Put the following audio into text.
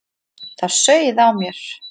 Það sauð á mér.